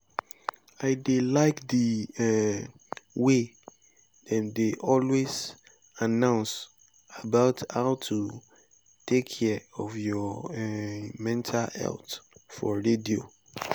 i dey like the um way dem dey always announce about how to take care of your um mental health for radio